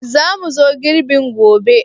Za mu zo girbin gobe?